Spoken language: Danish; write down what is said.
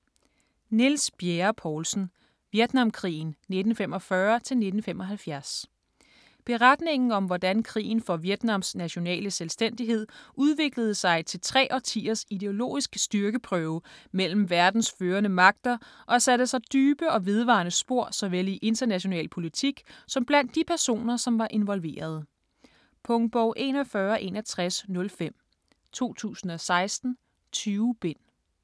Bjerre-Poulsen, Niels: Vietnamkrigen:1945-1975 Beretningen om hvordan krigen for Vietnams nationale selvstændighed udviklede sig til tre årtiers ideologisk styrkeprøve mellem verdens førende magter og satte sig dybe og vedvarende spor såvel i international politik som blandt de personer som var involverede. Punktbog 416105 2016. 20 bind.